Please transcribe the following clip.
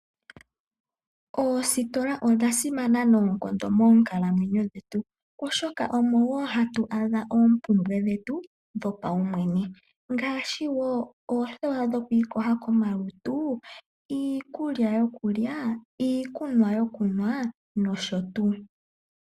Oositola odha simana noonkondo mookalamwenyo dhetu oshoka omo wo hatu adha oompumbwe dhetu dho paumwene ngaashi wo oothewa dhoku ikosha komalutu, iikulya yokulya, iikunwa yokunwa nosho tu.